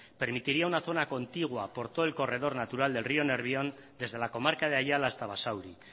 permitiría una zona contigua por todo el corredor natural del río nervión desde la comarca de ayala hasta basauri